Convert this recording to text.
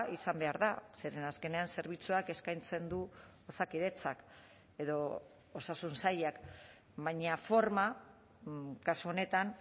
izan behar da zeren azkenean zerbitzuak eskaintzen du osakidetzak edo osasun sailak baina forma kasu honetan